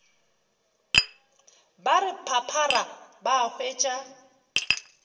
ba re phaphara ba hwetša